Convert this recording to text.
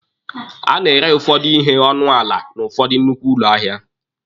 A na-ere ụfọdụ ihe n'ọnụ ala n'ụfọdụ nnukwu ahịa.